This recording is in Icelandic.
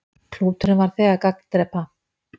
Klúturinn varð þegar gagndrepa.